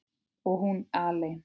Og hún alein.